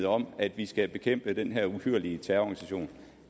om at vi skal bekæmpe den her uhyrlige terrororganisation